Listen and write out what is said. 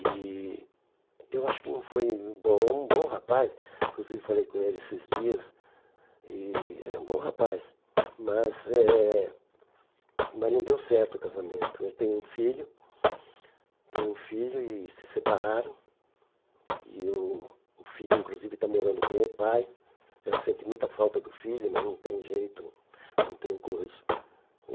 e eu acho que não foi bom é um bom rapaz inclusive falei com ele esses dias e é um bom rapaz mas eh mas não deu certo o casamento eu tenho um filho tem um filho e se separaram e o o filho inclusive está morando com o pai ela sente muita falta do filho mas não tem jeito não tem coisa o